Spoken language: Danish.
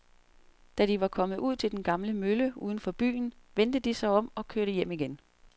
Da de var kommet ud til den gamle mølle uden for byen, vendte de om og kørte hjem igen.